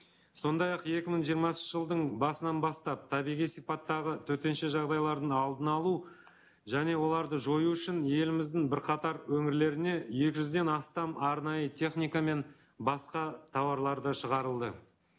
сондай ақ екі мың жиырмасыншы жылдың басынан бастап табиғи сипаттағы төтенше жағдайлардың алдын алу және оларды жою үшін еліміздің бірқатар өңірлеріне екі жүзден астам арнайы техника мен басқа тауарлар да шығарылды